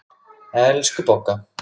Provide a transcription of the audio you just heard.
Elsku Bogga.